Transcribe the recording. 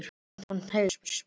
Torfheiður, spilaðu tónlist.